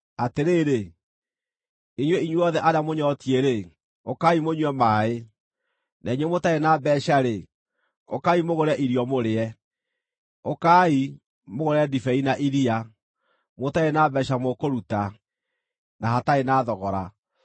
“Atĩrĩrĩ, inyuĩ inyuothe arĩa mũnyootiĩ-rĩ, ũkaai mũnyue maaĩ; na inyuĩ mũtarĩ na mbeeca-rĩ, ũkaai mũgũre irio, mũrĩe! Ũkaai, mũgũre ndibei na iria mũtarĩ na mbeeca mũkũruta, na hatarĩ na thogora.